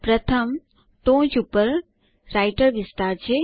પ્રથમ ટોચ પર રાઈટર વિસ્તાર છે